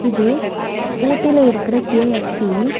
இது ஊட்டில இருக்குற கே_எஃப்_சி .